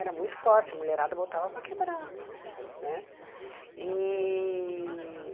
Era muito forte, a mulherada botava para quebrar né e.